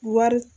Wari